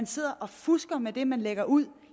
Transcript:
sidder og fusker med det man lægger ud